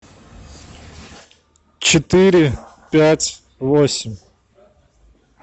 четыре пять восемь